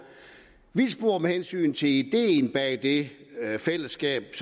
vildspor med hensyn til ideen bag det fællesskab